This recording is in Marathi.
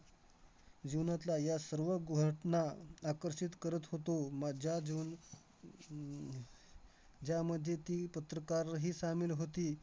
जीवनातला या सर्व गो घटना आकर्षित करत होतो. माझ्या जीवन अह ज्यामध्ये ती पत्रकारही होती.